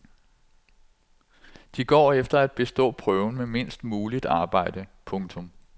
De går efter at bestå prøven med mindst muligt arbejde. punktum